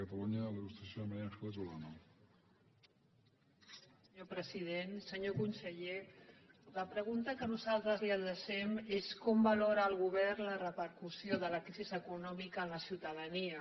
senyor conseller la pregun·ta que nosaltres li adrecem és com valora el govern la repercussió de la crisi econòmica en la ciutadania